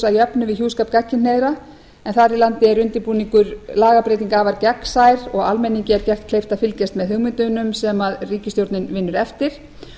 að jöfnu við hjúskap gagnkynhneigðra þar í landi er undirbúningur lagabreytinga afar gagnsær og almenningi gert kleift að fylgjast með hugmyndunum sem ríkisstjórnin vinnur eftir